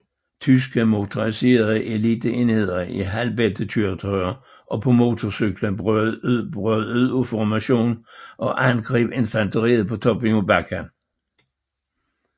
Tyske motoriserede eliteenheder i halvbæltekøretøjer og på motorcykler brød ud af formationen og angreb infanteriet på toppen af bakken